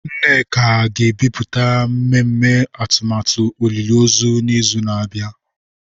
Nneka ga-ebipụta mmemme atụmatụ olili ozu n'izu na-abịa.